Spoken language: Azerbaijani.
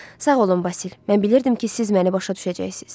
Sağ olun Vasil, mən bilirdim ki, siz məni başa düşəcəksiniz.